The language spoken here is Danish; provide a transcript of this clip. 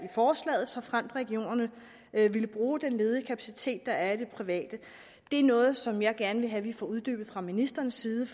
forslaget såfremt regionerne ville bruge den ledige kapacitet der er i det private det er noget som jeg gerne vil have vi får uddybet fra ministerens side